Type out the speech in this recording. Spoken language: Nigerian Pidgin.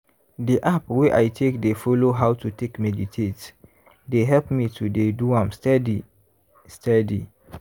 di app wey i take dey follow how to take meditate dey help me to dey do am steadiy steady.